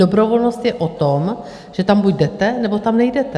Dobrovolnost je o tom, že tam buď jdete, nebo tam nejdete.